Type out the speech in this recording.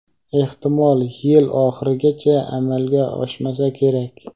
ehtimol yil oxirigacha amalga oshmasa kerak.